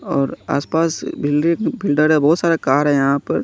और आस पास बिल्डिंग बिल्डर है बहुत सारे कार हैं यहां पर।